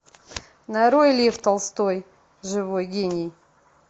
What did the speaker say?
нарой лев толстой живой гений